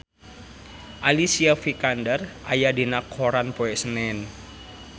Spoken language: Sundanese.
Alicia Vikander aya dina koran poe Senen